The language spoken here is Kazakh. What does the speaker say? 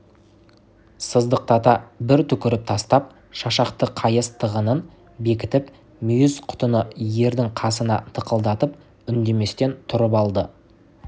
сыздықтата бір түкіріп тастап шашақты қайыс тығынын бекітіп мүйіз құтыны ердің қасына тықылдатып үндеместен тұрып алды